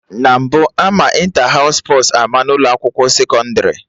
Na mbụ, ama Ịnta haụs spọs ama n'ụlọ akwụkwọ sekọndrị